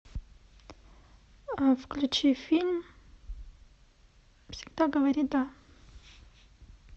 включи фильм всегда говори да